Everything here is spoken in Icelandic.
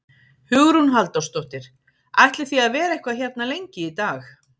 Hugrún Halldórsdóttir: Ætlið þið að vera eitthvað hérna lengi í dag?